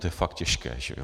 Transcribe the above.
To je fakt těžké, že jo?